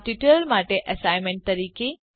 આ ટ્યુટોરીયલ માટે એસાઈનમેંટ તરીકે